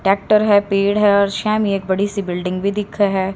Tractor है पेड़ है और शेम ही एक बड़ी सी बिल्डिंग भी दिखे है।